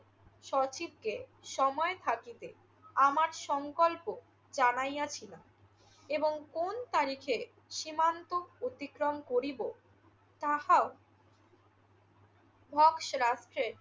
সচিবকে সময় থাকিতে আমার সংকল্প জানাইয়াছিলাম এবং কোন তারিখে সীমান্ত অতিক্রম করিব তাহাও ধপসে রাস্ট্রের